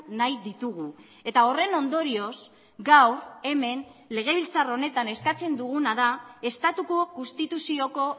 nahi ditugu eta horren ondorioz gaur hemen legebiltzar honetan eskatzen duguna da estatuko konstituzioko